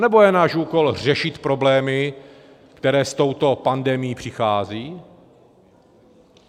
Anebo je náš úkol řešit problémy, které s touto pandemii přicházejí?